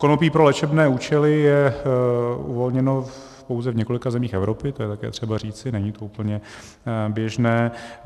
Konopí pro léčebné účely je uvolněno pouze v několika zemích Evropy, to je také třeba říci, není to úplně běžné.